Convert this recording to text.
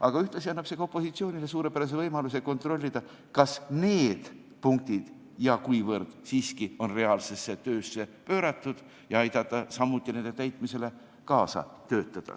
Aga ühtlasi annab see opositsioonile suurepärase võimaluse kontrollida, kas ja kuivõrd need punktid on reaalselt töösse pööratud, ja aidata nende täitmisele kaasa.